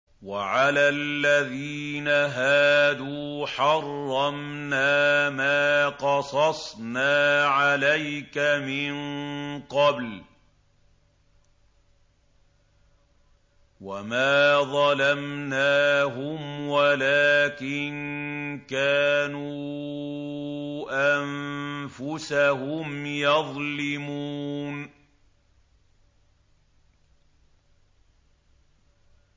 وَعَلَى الَّذِينَ هَادُوا حَرَّمْنَا مَا قَصَصْنَا عَلَيْكَ مِن قَبْلُ ۖ وَمَا ظَلَمْنَاهُمْ وَلَٰكِن كَانُوا أَنفُسَهُمْ يَظْلِمُونَ